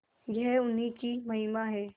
यह उन्हीं की महिमा है